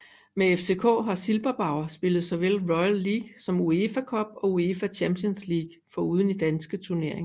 Med FCK har Silberbauer spillet såvel Royal League som UEFA Cup og UEFA Champions League foruden i danske turneringer